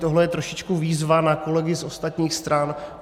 Tohle je trošičku výzva na kolegy z ostatních stran.